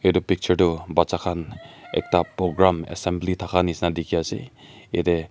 etu picture toh bacha khan ekta program assembly thakia nishena dikhi ase yate--